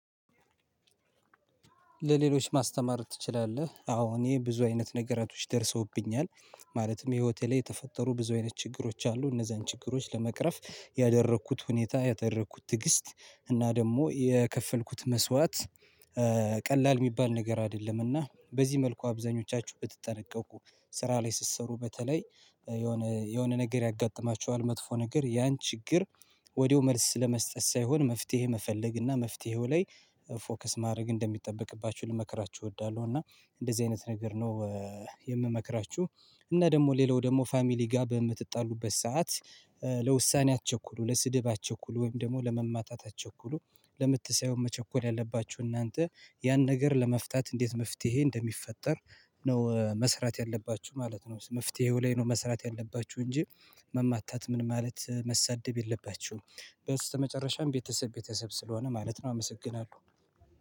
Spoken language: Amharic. ለሌሎች ማስተማር ትችላለህ አዎ እኔ ብዙ አይነት ነገሮች ደርሰውብኛል ማለትም ህይወቴ ላይ የተፈጠሩ ብዙ አይነት ችግሮች አሉ እነዛን ችግሮች ለመቅረፍ ያደረኩት ሁኔታ ያደረኩት ትግስት እና ደግሞ የከፈልኩት መስዋዕት። ቀላል የሚባል ነገር አይደለምና በዚህ መልኩ አብዛኞቻችሁ ብትጠነቀቁ ስራ ላይ ስትሰሩ በተለይ የሆነ የሆነ ነገር ያጋጥማችኋል መጥፎ ነገር ያን ችግር ወዲያው መልስ ለመስጠት ሳይሆን መፍትሄ መፈለግ እና መፍትሄው ላይ ፎከስ ማድረግ እንደሚጠበቅባችሁ ልመክራችሁ እወዳለሁ። እና እንደዚህ አይነት ነገር ነው። የምመክራችሁ እና ደግሞ ሌላው ደግሞ ፋሚሊ ጋር በምትጣሉበት ሰዓት ለውሳኔ አትቸኩሉ ለስድብ አትቸኩሉ ወይም ደግሞ ለመማታት አትቸኩሉ። ለምት ሳይሆን መቸኮል ያለባችሁ እናንተ ያን ነገር ለመፍታት እንዴት መፍትሄ እንደሚፈጠር ነው መስራት ያለባችሁ ማለት ነው። መፍትሄው ላይ ነው መስራት ያለባችሁ እንጂ መማታት ምን ማለት መሰደብ የለባችሁም። በስተ መጨረሻም ቤተሰብ ቤተሰብ ስለሆነ ማለት ነው አመሰግናለሁ።